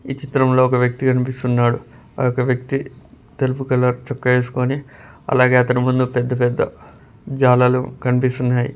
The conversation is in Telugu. ఈ చిత్రంలో ఒక వ్యక్తి కనిపిస్తున్నాడు ఆ యొక్క వ్యక్తి తెలుపు కలర్ చొక్కా ఏసుకొని అలాగే అతను ముందు పెద్ద పెద్ద జాలలు కనిపిస్తున్నాయి.